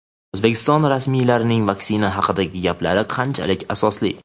O‘zbekiston rasmiylarining vaksina haqidagi gaplari qanchalik asosli?.